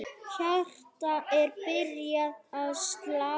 Hjartað er byrjað að slá.